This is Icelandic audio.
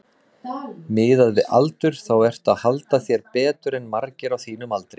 Miðað við aldur þá ertu að halda þér betur en margir á þínum aldri?